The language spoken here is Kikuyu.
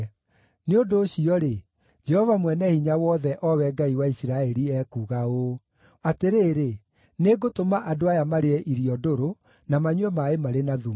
Nĩ ũndũ ũcio-rĩ, Jehova Mwene-Hinya-Wothe, o we Ngai wa Isiraeli ekuuga ũũ: “Atĩrĩrĩ, nĩngũtũma andũ aya marĩe irio ndũrũ, na manyue maaĩ marĩ na thumu.